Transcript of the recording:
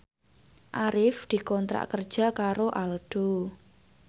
Arif dikontrak kerja karo Aldo